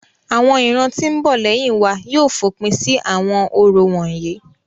Awọn iran ti n bo leyin wa yóò fopin si awọn orȯ wonyi.́